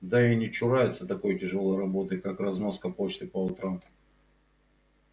да и не чурается такой тяжёлой работы как разноска почты по утрам